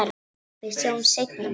Við sjáumst seinna, mamma.